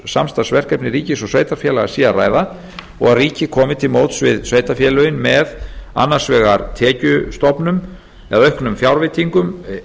samstarfsverkefni ríkis og sveitarfélaga sé að ræða og að ríkið komi til móts við sveitarfélögin með annars vegar tekjustofnum eða auknum fjárveitingum